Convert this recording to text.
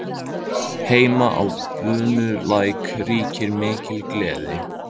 Heima á Bunulæk ríkir mikil gleði.